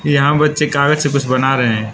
यहां बच्चे कागज से कुछ बना रहे हैं।